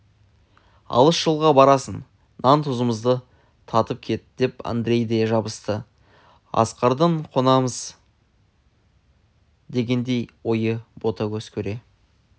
алыс жолға барасың нан-тұзымды татып кет деп андрей де жабысты асқардың қонамыз дегендегі ойы ботагөзді көре